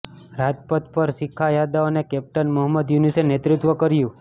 રાજપથ પર શિખા યાદવ અને કેપ્ટન મહમદ યુનુસે નેતૃત્વ કર્યુ